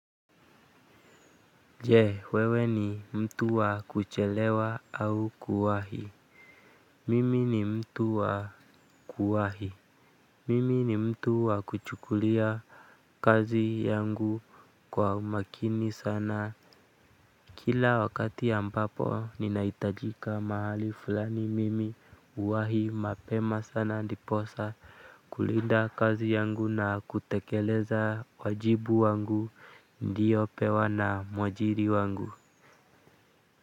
Je, wewe ni mtu wa kuchelewa au kuwahi? Mimi ni mtu wa kuwahi. Mimi ni mtu wa kuchukulia kazi yangu kwa umakini sana. Kila wakati ya ambapo, ninahitajika mahali fulani, mimi uwahi mapema sana diposa kulinda kazi yangu na kutekeleza wajibu wangu nliyopewa na mwajiri wangu.